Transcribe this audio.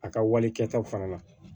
A ka wale kɛtaw fana na